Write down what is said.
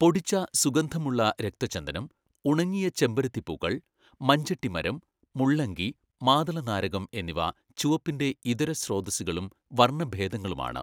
പൊടിച്ച, സുഗന്ധമുള്ള രക്തചന്ദനം, ഉണങ്ങിയ ചെമ്പരത്തിപ്പൂക്കൾ, മഞ്ചെട്ടിമരം, മുള്ളങ്കി, മാതളനാരകം എന്നിവ ചുവപ്പിൻ്റെ ഇതരസ്രോതസ്സുകളും വർണഭേദങ്ങളുമാണ്.